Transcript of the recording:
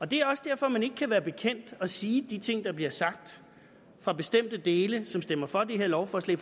det er også derfor at man ikke kan være bekendt at sige de ting der bliver sagt fra bestemte dele af som stemmer for det her lovforslag